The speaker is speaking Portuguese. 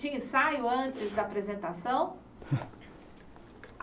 Tinha ensaio antes da apresentação?